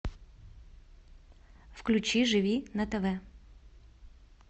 включи живи на тв